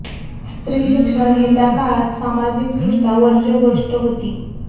स्त्री शिक्षण हे त्या काळात सामाजिकदृष्ट्या वर्ज्य गोष्ट होती